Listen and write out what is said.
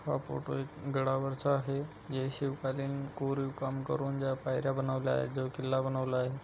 हां फोटो एक गड़ा वरचा आहे हे शिवकालीन कोरीव काम करून ज्या पायऱ्या बनवल्या जो किल्ला बनवला आहे.